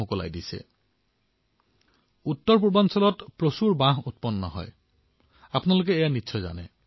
আপোনালোকে জানেই যে উত্তৰ পূৰ্বাঞ্চলত বাঁহ যথেষ্ট পৰিমাণে উৎপাদিত হয়